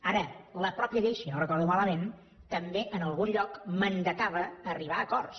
ara la mateixa llei si no ho recordo malament també en algun lloc mandatava arribar a acords